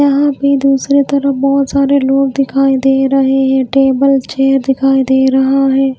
वहां पर दूसरी तरफ बहोत सारे लोग दिखाई दे रहे है टेबल चेयर दिखाई दे रहा हैं।